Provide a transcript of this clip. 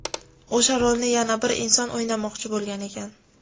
O‘sha rolni yana bir inson o‘ynamoqchi bo‘lgan ekan.